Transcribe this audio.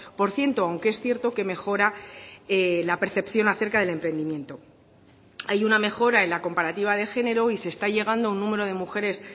por ciento aunque es cierto que mejora la percepción acerca del emprendimiento hay una mejora en la comparativa de género y se está llegando a un número de mujeres